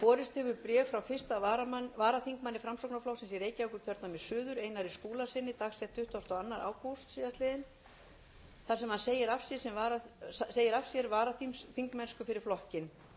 borist hefur bréf frá fyrstu varaþingmanni framsóknarflokksins í reykjavíkurkjördæmi suður einar skúlasyni dagsett tuttugasta og önnur ágúst síðastliðnum þar sem hann segir af sér varaþingmennsku fyrir flokkinn